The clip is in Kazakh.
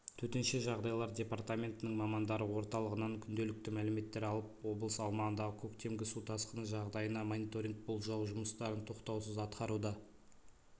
төтенше жағдайлар департаментінің мамандары орталығынан күнделікті мәліметтер алып облыс аумағындағы көктемгі су тасқыны жағдайына мониторинг болжау жұмыстарын тоқтаусыз атқаруда